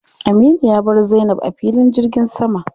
Aminu ya bar Zainab a filin jirgin sama.